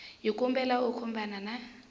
hi kombela u khumbana na